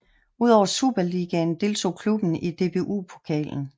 Udover Superligaen deltog klubben i DBU Pokalen